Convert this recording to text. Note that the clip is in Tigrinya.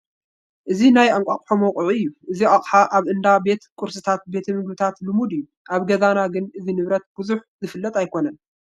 እዚ ናይ እንቋቑሖ መውቅዒ እዩ፡፡ እዚ ኣቕሓ ኣብ እንዳ ቤት ቁርስታትን ቤት ምግብታትን ልሙድ እዩ፡፡ ኣብ ገዛ ግን እዚ ንብረት ብዙሕ ዝፍለጥ ኣይኮነን፡፡